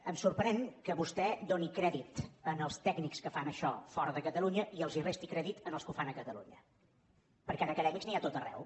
em sorprèn que vostè doni crèdit als tècnics que fan això fora de catalunya i els resti crèdit als que ho fan a catalunya perquè d’acadèmics n’hi ha a tot arreu